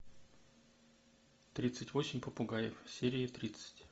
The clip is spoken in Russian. тридцать восемь попугаев серия тридцать